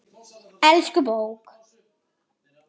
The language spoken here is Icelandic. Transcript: Elsku bók!